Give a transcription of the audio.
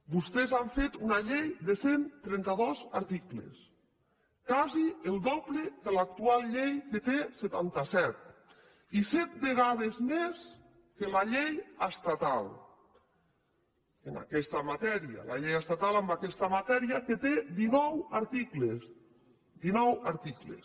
vostès han fet una llei de cent i trenta dos articles quasi el doble que l’actual llei que en que té setanta set i set vegades més que la llei estatal en aquesta matèria la llei estatal en aquesta matèria que té dinou articles dinou articles